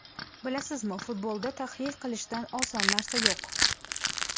Bilasizmi, futbolda tahlil qilishdan oson narsa yo‘q.